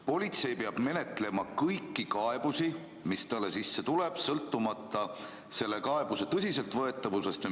Politsei peab menetlema kõiki kaebusi, mis sisse tulevad, sõltumata kaebuse tõsiseltvõetavusest.